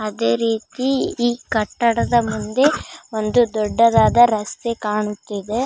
ಅದೇ ರೀತಿ ಈ ಕಟ್ಟಡದ ಮುಂದೆ ಒಂದು ದೊಡ್ಡದಾದ ರಸ್ತೆ ಕಾಣುತ್ತಿದೆ .